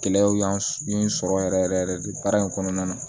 Gɛlɛyaw y'an ye n sɔrɔ yɛrɛ yɛrɛ de baara in kɔnɔna na